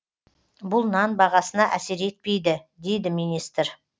бұл нан бағасына әсер етпейді дейді министр